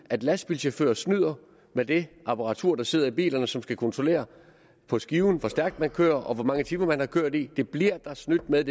at lastbilchauffører snyder med det apparatur der sidder i bilerne som skal kontrollere på skiven hvor stærkt man kører og hvor mange timer man har kørt i det bliver der snydt med